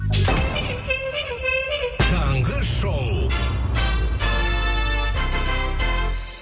таңғы шоу